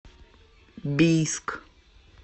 бийск